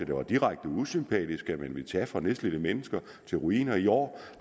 det var direkte usympatisk at man ville tage fra nedslidte mennesker og til ruiner i år